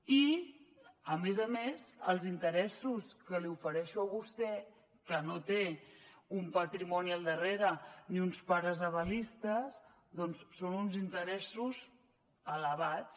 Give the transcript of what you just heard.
i a més a més els interessos que li ofereixo a vostè que no té un patrimoni al darrere ni uns pares avalistes doncs són uns interessos elevats